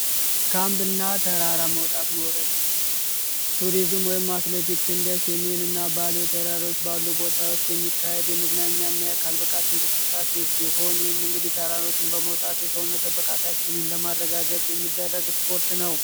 ካምፕ እና ተራራ መውጣት መውረድ ቱሪዝም ወይም አትሌቲክስ እንደ ሰሜን እና ባሌ ባሉ ቦታዎች የሚካሄድ የመዝናኛ እና የአካል እንቅስቃሴ ሲሆን ይህም እንግዲህ ተራሮችን በመውጣት የሰውነት ብቃት ለማረጋገጥ የሚደረግ ስፖርት ነው።